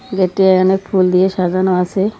গেটটি এ অনেক ফুল দিয়ে সাজানো আছে।